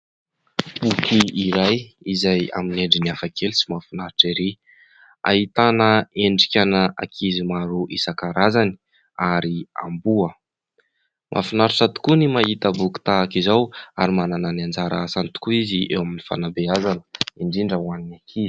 Boky iray izay amin'ny endriny hafakely sy mahafinaritra ery. Ahitana endrika ana ankizy maro isankarazany ary amboa mafinaritra tokoa ny mahita boky tahaka izao. Ary manana ny anjara asany tokoa izy eo amin'ny fanabeazana indrindra ho an' ny ankizy.